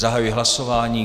Zahajuji hlasování.